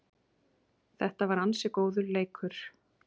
Þetta var ansi góður leikur